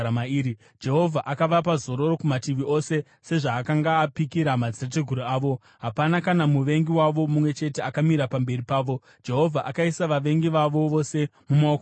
Jehovha akavapa zororo kumativi ose, sezvaakanga apikira madzitateguru avo. Hapana kana muvengi wavo mumwe chete akamira pamberi pavo; Jehovha akaisa vavengi vavo vose mumaoko mavo.